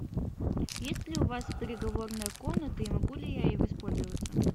есть ли у вас переговорная комната и могу ли я ей воспользоваться